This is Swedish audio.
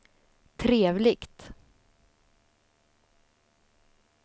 trevligt